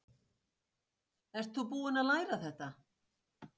Ert þú búinn að læra þetta?